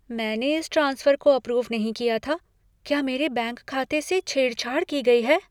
मैंने इस ट्रांसफर को अप्रूव नहीं किया था। क्या मेरे बैंक खाते से छेड़छाड़ की गई है?